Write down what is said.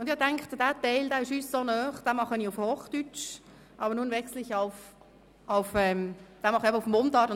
Da uns dieser Teil sehr nahe steht, wollte ich ihn in Mundart erläutern.